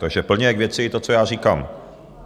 Takže plně k věci to, co já říkám.